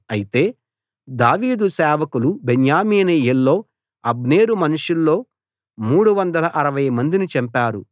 అయితే దావీదు సేవకులు బెన్యామీనీయుల్లో అబ్నేరు మనుషుల్లో మూడు వందల అరవై మందిని చంపారు